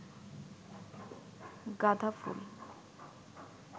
গাধা ফুল